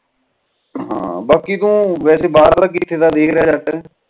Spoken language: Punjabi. ਬਕਲੀ ਤੂੰ ਵੈਸੇ ਬਾਹਰਲਾ ਕਿਥੇ ਦਾ ਦੇਖ ਰਿਹਾ